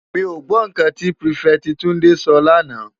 Mi ó gbò n kán ti pirifèti Tunde sò lànâ